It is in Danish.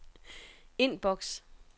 indboks